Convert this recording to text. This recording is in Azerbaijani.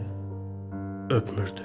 Məni öpmürdü.